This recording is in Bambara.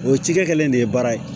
O cikɛ kɛlen de ye baara ye